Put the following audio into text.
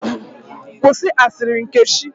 Kwụsị asịrị Nkechi!